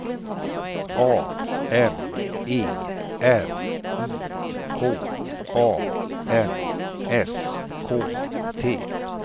A M E R I K A N S K T